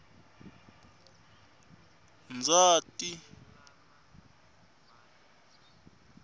ndzati